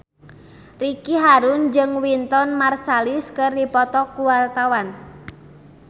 Ricky Harun jeung Wynton Marsalis keur dipoto ku wartawan